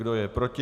Kdo je proti?